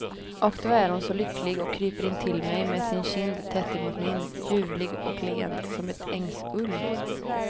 Och då är hon så lycklig och kryper intill mig med sin kind tätt emot min, ljuvlig och len som ett ängsull.